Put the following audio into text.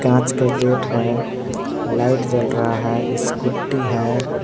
कांच का गेट है लाइट जल रहा है स्कूटी है।